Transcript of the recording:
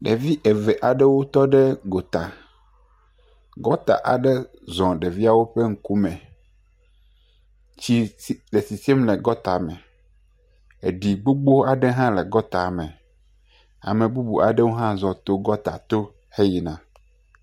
Ɖevi eve aɖewo tɔ ɖe gota. Gɔta aɖewo to ɖevia ƒe ŋkume. Tsi le sisim le gɔta me. Eɖi gbogbo aɖe hã le gɔta me. Ame bubu aɖewo hã zɔ to gɔta to.